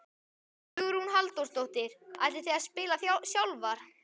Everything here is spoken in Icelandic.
Hugrún Halldórsdóttir: Ætlið þið að spila sjálfar?